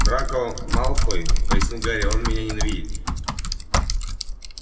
драко малфой пояснил гарри он меня ненавидит